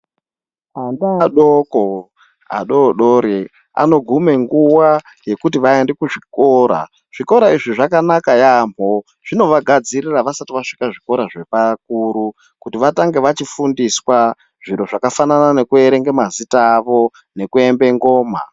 Ana adoko adodori anogume nguwa yekuti vaende kuzvikora. Zvikora izvi zvakanaka yaambo zvinovagadzirira vasati vasvika zvikora zvepakuru kuti vatange vachifundiswa zviro zvakafanana nekuerenga mazita avo nekuembe ngoma.